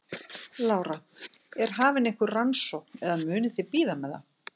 Lára: Er hafin einhver rannsókn eða munuð þið bíða með það?